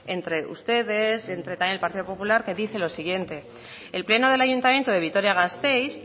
entre ustedes entre también el partido popular que dice lo siguiente el pleno del ayuntamiento de vitoria gasteiz